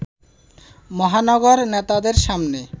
মহানগর নেতাদের সামনে